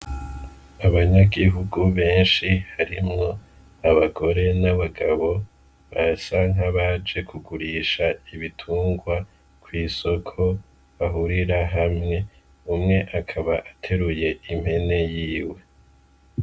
Abanyagihugu beshi harimwo abagore n'abagabo barasa nk'abaje kugurisha ibitungwa ku isoko bahurira hamwe umwe akaba ateruye impene yiwe.